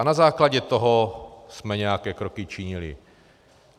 A na základě toho jsme nějaké kroky činili.